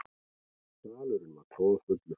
Salurinn var troðfullur.